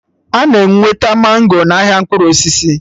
Ana enweta mango n'ahịa mkpụrụ osisi